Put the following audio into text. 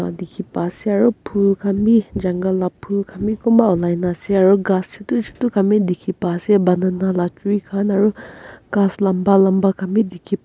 dikhi pa ase aru phul khan bi jungle la phul khan bi kunpa olai naase aru ghas chutu chutu khan bi dikhipa ase banana la tree khan aru ghas lamba lamba khan bi dikhipa--